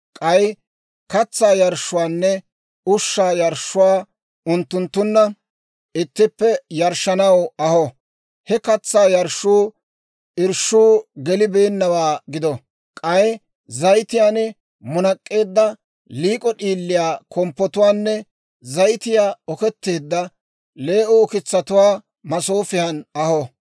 K'ay katsaa yarshshuwaanne ushshaa yarshshuwaa unttunttunna ittippe yarshshanaw aho; he katsaa yarshshuu irshshuu gelibeennawaa gido; k'ay zayitiyaan munak'k'eedda liik'o d'iiliyaa komppotuwaanne zayitiyaa oketteedda lee"o ukitsatuwaa masoofiyan aho.